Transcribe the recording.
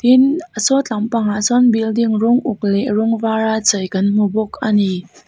tin sawtlampangah sawn building rawng uk leh rawng var a chei kan hmu bawk a ni.